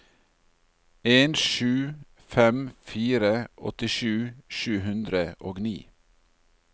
en sju fem fire åttisju sju hundre og ni